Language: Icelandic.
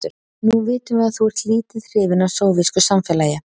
Nú vitum við að þú ert lítið hrifinn af sovésku samfélagi.